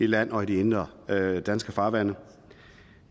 land og i de indre danske farvande